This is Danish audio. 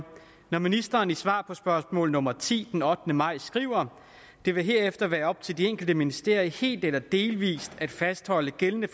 når ministeren i svar på spørgsmål nummer ti den ottende maj skriver det vil herefter være op til de enkelte ministerier helt eller delvist at fastholde gældende